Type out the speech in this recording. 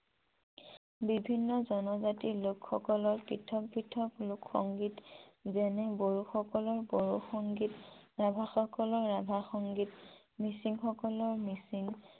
বিভিন্ন জনজাতিৰ লোক সকলৰ পৃথৰ পৃথক লোক সংগীত যেনে বড়োসকলৰ বড়ো সংগীত ৰাভা সকলৰ ৰাভা সংগীত মিছিং সকলৰ মিছিং